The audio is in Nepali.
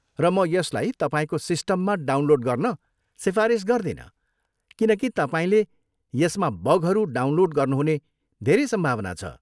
र म यसलाई तपाईँको सिस्टममा डाउनलोड गर्न सिफारिस गर्दिनँ किनकि तपाईँले यसमा बगहरू डाउनलोड गर्नुहुने धेरै सम्भावना छ।